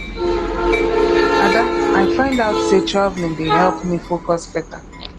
ada i find out say traveling dey help me focus beta